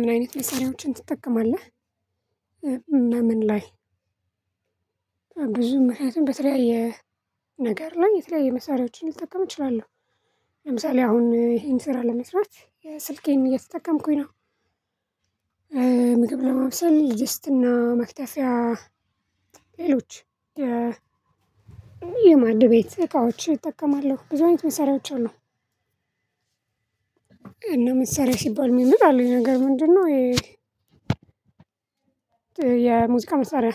ምን አይነት መሳሪያዎችን ትጠቀማለህ? እና ምን ላይ ብዙም ምክንያቱም በተለያየ ነገር ላይ የተለያየ መሳሪያዎችን ልጠቀም እችላለሁ። ለምሳሌ አሁን እሆን ስራ ለመስራት ስልኬን እየተጠቀምኩኝ ነው። ምግብ ለማብሰል ድስትና መክተፊያ ሌሎች የማድ ቤት እቃዎች እጠቀማለሁ። ብዙ አይነት መሰሪያዎች አሉ። እና መሳሪያ ሲባል ሚመጣልኝ ነገር ምንድነው? የሙዚቃ መሳሪያ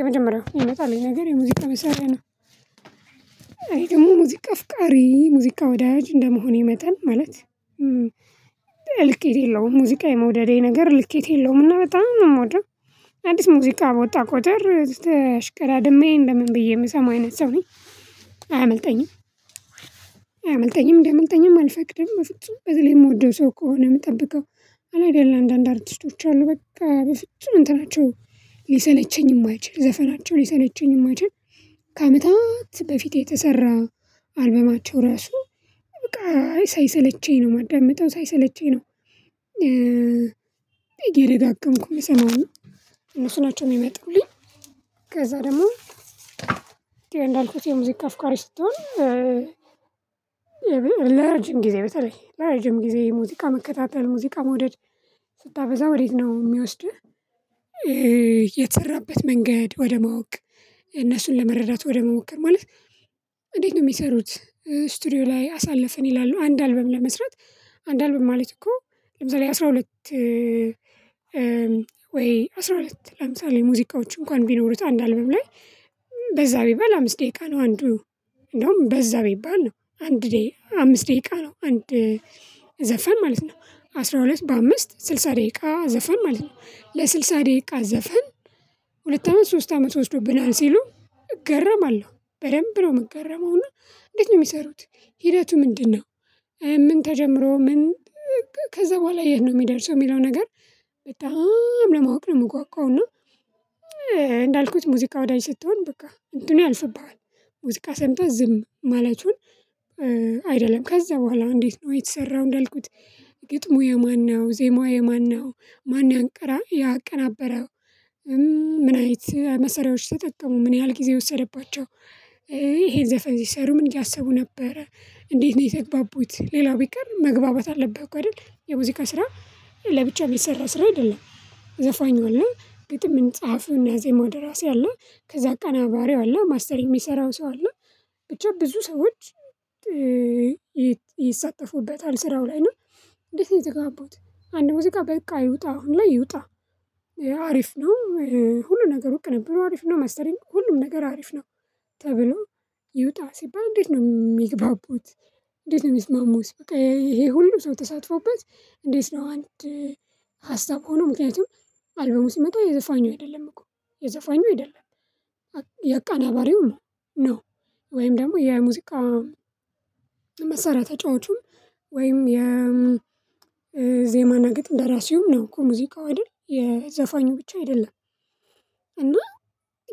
የመጀመሪያው ሚመጣልኝ ነገር የሙዚቃ መሳሪያ ነው። አይ ደሞ ሙዚቃ አፍቃሪ ሙዚቃ ወዳጅ እንደመሆኔ መጣን ማለት ልኬት የለውም ሙዚቃ የመውደዴ ነገር ልኬት የለውም እና በጣም ነው ምወደው። አዲስ ሙዚቃ በወጣ ቁጥር ተሽቀዳድሜ እንደምን ብዬ ምሰማ አይነት ሰው ነኝ አያመልጠኝም። አያመልጠኝም እንዲያመልጠኝም አልፈቅድም በፍጹም በተለይ ምወደው ሰው ከሆነ ምጠብቀው። አለ አይደለ አንዳንድ አርቲስቶች አሉ በቃ በፍጹም እንትናቸው ሊሰለቸኝ ማይችል ዘፈናቸው ሊሰለቸኝ ማይችል። ከአመታት በፊት የተሰራ አልበማቸው ራሱ በቃ አይ ሳይሰለቸኝ ነው ማዳምጠው ሳይሰለቸኝ ነው። እየደጋገምኩ ምሰማው እና እነሱ ናቸው ሚመጡልኝ። ከዛ ደሞ እንዳልኩት የሙዚቃ አፍሪቃ ስትሆን። ለረጅም ጊዜ በተለይ ለረጅም ጊዜ ሙዚቃ መከታተል ሙዚቃ መውደድ። ስታበዛ ወዴት ነው ሚወስድህ የተሰራበት መንገድ ወደ ማወቅ። እነሱን ለመረዳት ወደመሞከር ማለት። እንዴት ነው ሚሰሩት? ስትዲዮ ላይ አሳለፈን ይላሉ አንድ አልበም ለመስራት አንድ አልበም ማለት እኮ ለምሳሌ አስራ ሁለት ወይ አስራ ሁለት ለምሳሌ ሙዚቃዎች እንኳን ቢኖሩት አንድ አልበም ላይ በዛ ቢባል አምስት ደቂቃ ነው አንዱ እንዳውም በዛ ቢባል ነው አንድ አምስት ደቂቃ ነው አንድ ዘፈን ማለት ነው አስራ ሁለት በአምስት ስልሳ ደቂቃ ዘፈን ማለት ነው ለስልሳ ደቂቃ ዘፈን። ሁለት አመት ሶስት አመት ወስዶብናል ሲሉ እገረማለሁ በደንብ ነው ምገረመውና። እንዴት ነው ሚሰሩት? ሂደቱ ምንድነው? ምን ተጀምሮ ምን ከዛ በኋላ የት ነው ሚደርሰው ሚለው ነገር። በጣም ለማወቅ ነው ምጓጓው እና። እንዳልኩት ሙዚቃ ወዳጅ ስትሆን በቃ እንትኑ ያልፍብሃል። ሙዚቃ ሰምተህ ዝም ማለቱን። አይደለም ከዛ በኋላ እንዴት ነው የተሰራው? እንዳልኩት ግጥሙ የማነው ዜማው የማነው? ማን ያንቀራ ያቀናበረው። ምን አይነት መሰሪያዎች ተጠቀሙ፣ ምን ያህል ጊዜ የወሰደባቸው? ይሄን ዘፈን ሲሰሩ ምን እያሰቡ ነበረ፣ እንዴት ነው የተግባቡት፣ ሌላው ቢቀር መግባባት አለብህ እኮ አይደል የሙዚቃ ስራ። ለብቻ የሚሰራ ስራ አይደለም። ዘፋኝ አለ ግጥም ጻሃፈውና ዜማው ደራሲ አለ፣ ከዛ አቀናባሪ አለ፣ ማስተር የሚሰራው ሰው አለ። ብቻ ብዙ ሰዎች ይሳተፉበታል ስራው ላይ አና። እንዴት የተግባቡት አንድ ሙዚቃ በቃ ይውጣ አሁን ላይ ይውጣ? አሪፍ ነው። ሁሉም ነገር ቂንብሩ ነበር አሪፍ ነው ማስተሪንግ ሁሉም ነገር አሪፍ ነው። ተብሎ ይውጣ ሲባል እንዴት ነው ሚግባቡት? እንዴት ነው ሚስማሙት? በቃ ይሄ ሁሉ ሰው ተሳትፎበት። እንዴት ነው አንድ? ሀሳብ ሆኖ ምክንያቱም። አልበሙ ሲመጣ የዘፋኙ አይደለም እኮ የዘፋኙ አይደለም። የአቀናባሪው ነው። ወይም ደግሞ የ ኤአይ ሙዚቃ መሳሪያ ተጫዋቹም ወይም የ ዜማና የግጥም ደራሲዉም ነው እኮ ሙዚቃው አይደል የዘፋኙ ብቻ አይደለም። እና።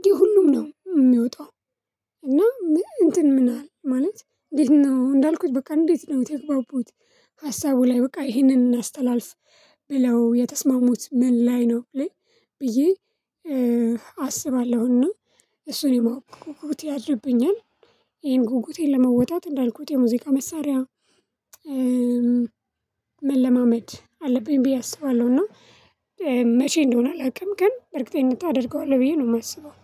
የሁሉም ነው የሚወጣው። እና ምን እንትን ምን አለ ማለት። እንዴት ነው እንዳልኩት በቃ እንዴት ነው የተግባቡት? ሀሳቡ ላይ በቃ ይህንን እናስተላልፍ። ብለው የተስማሙት ምን ላይ ነው ብዬ ብዬ አስባለሁና። እሱን ጉጉት ያድርብኛል። ይሄን ጉጉቴን ለመወጣት እንዳልኩት የሙዚቃ መሳሪያ። መለማመድ አለብኝ ብዬ አስባለሁ እና። መቼ እንደሆነ አላውቅም ግን በእርግጠኝነት አደርገዋለሁ ብዬ ነው የማስበው